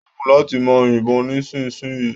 Dekun lati maa yibon nisinsinyii